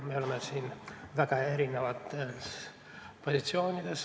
Me oleme siin väga erinevatel positsioonidel.